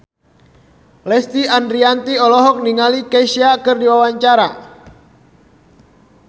Lesti Andryani olohok ningali Kesha keur diwawancara